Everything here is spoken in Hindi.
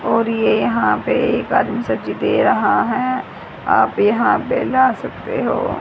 और ये यहां पे एक आदमी सब्जी दे रहा है आप यहां पे ला सकते हो।